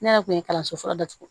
Ne yɛrɛ kun ye kalanso fɔlɔ datugu